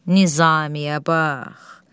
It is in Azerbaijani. Nizamiye bax!